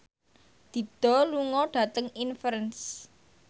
Dido lunga dhateng Inverness